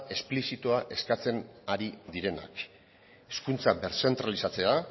esplizitua eskatzen ari direnak hezkuntza birzentralizatzea